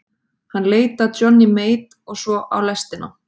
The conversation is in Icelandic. Hann leit af Johnny Mate og svo á lestina.